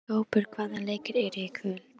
Kópur, hvaða leikir eru í kvöld?